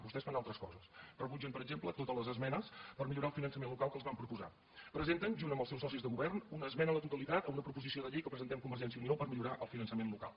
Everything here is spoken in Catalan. vostès fan altres coses rebutgen per exemple totes les esmenes per millorar el finançament local que els vam proposar presenten junt amb els seus socis de govern una esmena a la totalitat a una proposició de llei que presentem convergència i unió per millorar el finançament local